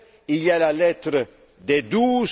budgétaire. Il y a la lettre